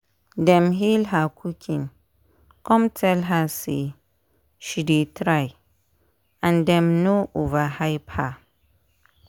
dem hail her cooking cum tell her say she dey try and dem no overhype her.